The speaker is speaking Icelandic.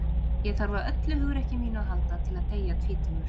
ég þarf á öllu hugrekki mínu að halda til að deyja tvítugur